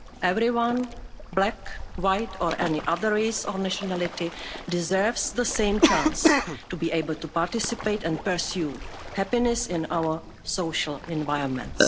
Everyone, black, white or any other race or nationality, deserves the same chance to be able to participate and pursue happiness in our social environment.